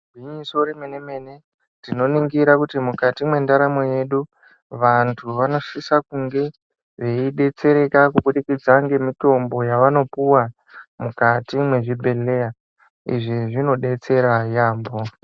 Igwinyiso remene mene tinoringisa kuti mukati mwendaramo yedu vantu vanosisa kunge veidetsereka kubudikidza nemitombo yavanopuwa mukati mwezvibhehleya. Izvi zvinodetsera yaambo.